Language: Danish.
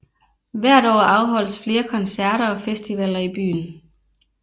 Hvert år afholdes flere koncerter og festivaller i byen